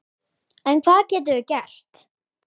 En hvað getum við gert?